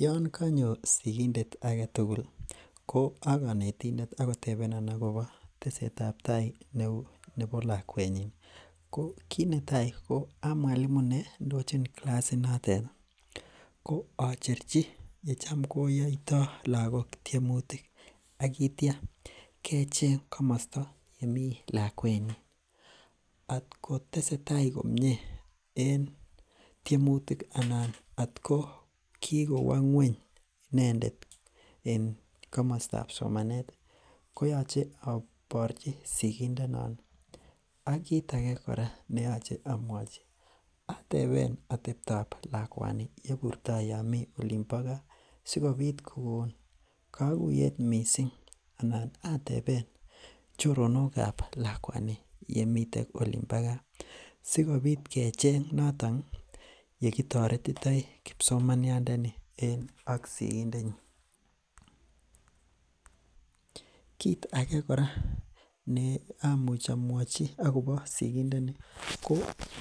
Yoon kanyo sigindet agetugul koa kanetindet ih akotebenan akoba tesetabtai neuu nebo lakuet nyin ih ko kit netai koa mwalimu neandojoni kilasit notet ih ko acherchi yechamkoyaita lagok tiemutik. Akiitya kecheng kamasta nemi lakuet nyin. Akotesetai komie en tiemutik ih , anan atko kikowa ngueny inendet, en kamasta somanet ih , koyoche abirchi sikindet noon ih ak kit age kora neyache amwachi ateben atebtap lakuani yeburtai yaamiten Olin bo kaa. Sikobit kokon kaguyet missing anan ateben choronokab lakuani yemiten en olimbo kaasikobit kecheng noton ih ye kitaretitoi kibsomaniat ni. en sigindetnyin. kit age kora amwachi akobo sigindet ni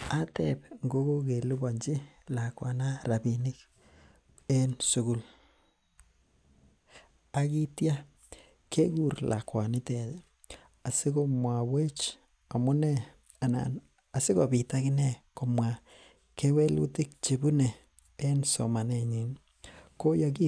ateb ngo ko kelubanchi lakuet rabinik en sugul. Aitia kekur lakunitet ih asiko muawech amunee, anan asikobit akinee komwa, kewelutik chebune en somanetnyin ih.